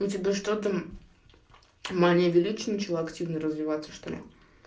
у тебя что там мания величия начала активно развиваться что ли